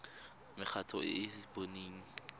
mekgatlho e e sa boneng